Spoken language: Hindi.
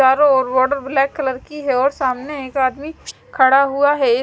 चारों ओर वाटर ब्लैक कलर की है और सामने एक आदमी खड़ा हुआ है।